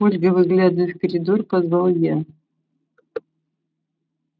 ольга выглядывая в коридор позвал я